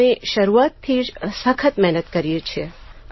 અમે શરૂઆતથી જ સખત મહેનત કરીએ છીએ